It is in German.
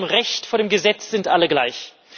Vor dem Recht, vor dem Gesetz sind alle gleich.